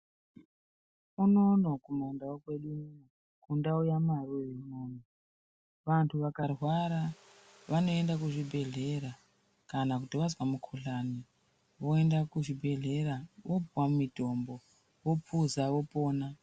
Unono kumandau kwedu unono mundau yamarure unono. Vantu vakarwara vanoenda kuzvibhedhlera kana kuti vazwa mukuhlani voenda kuzvibhedhlera vopuva mitombo vopuza vopona.